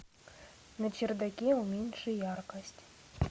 на чердаке уменьши яркость